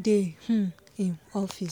dey um him office